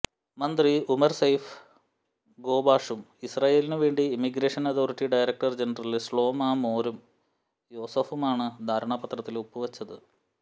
മന്ത്രി Omar Saif ഗോബാഷും ഇസ്രായിലിനുവേണ്ടി immigration authority director general Shlomo Mor യോസഫുമാണ് ധാരണാ പത്രത്തില് ഒപ്പുവെച്ചത്